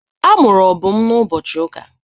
A mụrụ Obum n'ụbọchị ụka.